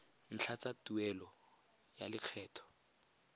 ntlha tsa tuelo ya lekgetho